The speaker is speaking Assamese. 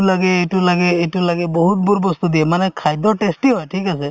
লাগে এইটো লাগে এইটো লাগে বহুতবোৰ বস্তু দিয়ে মানে খাদ্য tasty হয় ঠিক আছে